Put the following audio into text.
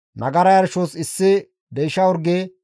Nagara yarshos issi deysha orge,